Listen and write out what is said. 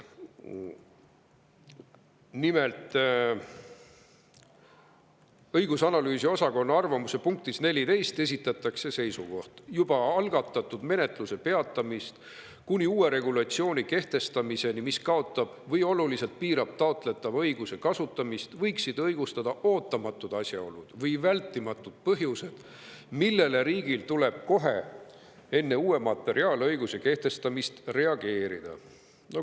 Nimelt, õigus‑ ja analüüsiosakonna arvamuse punktis 14 esitatakse järgmine seisukoht: "Juba algatatud menetluste peatamist kuni uue regulatsiooni kehtestamiseni, mis kaotab või oluliselt piirab taotletava õiguse kasutamist, võiksid õigustada ootamatud asjaolud või vältimatud põhjused, millele riigil tuleb kohe, enne uue materiaalõiguse kehtestamist reageerida.